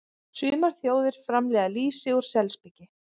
Sumar þjóðir framleiða lýsi úr selspiki.